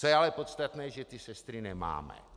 Co je ale podstatné, že ty sestry nemáme.